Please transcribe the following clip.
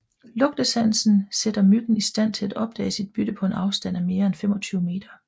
Lugtesansen sætter myggen i stand til opdage sit bytte på en afstand af mere end 25 meter